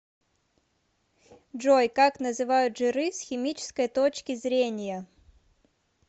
джой как называют жиры с химической точки зрения